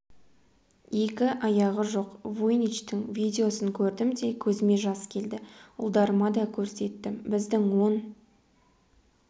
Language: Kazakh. екі аяғы жоқ вуйничтің видеосын көрдім де көзіме жас келді ұлдарыма да көрсеттім біздің он